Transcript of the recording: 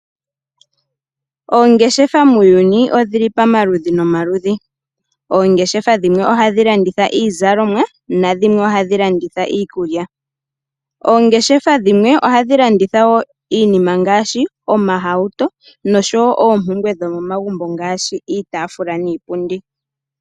Oongeshefa muuyuni odhili pomaludhi nomaludhi. Oongeshefa dhimwe ohadhi landitha iikulya, dhimwe ohadhi landitha iizalomwa, dhimwe ohadhi landitha omahawuto nodhimwe ohadhi landitha iipumbiwa yomegumbo ngashi iitafula niipundi.